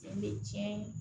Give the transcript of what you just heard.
Ni tiɲɛ ye